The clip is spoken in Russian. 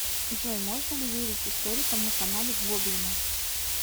джой можно ли верить историкам на канале гоблина